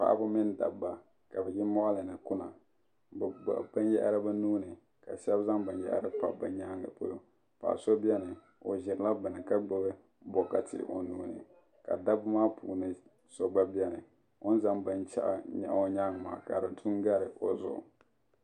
paɣaba mini dabba ka bi yi moɣali ni kuna bi gbuni binyahari bi nuuni ka shab zaŋ binyahari pa bi yaangi zuɣu paɣa so biɛni o ʒirila bini ka gbubi bokati o nuuni ka dabba maa puuni so gba biɛni o ni zaŋ binshaɣu yili o nyaangi maa ka di du n gari bi zuɣu